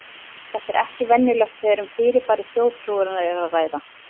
Þetta er ekki venjulegt þegar um fyrirbæri þjóðtrúarinnar er að ræða.